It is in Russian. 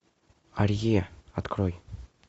арье открой